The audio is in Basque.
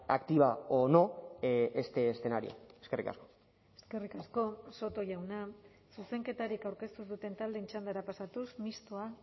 activa o no este escenario eskerrik asko eskerrik asko soto jauna zuzenketarik aurkeztu ez duten taldeen txandara pasatuz mistoa